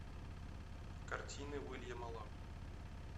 картина уильяма лау